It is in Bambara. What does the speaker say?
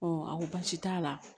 aw baasi t'a la